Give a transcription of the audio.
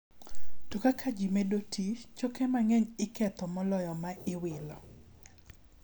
To kaka ji medo tii, choke mang'eny iketho moloyo ma iwilo.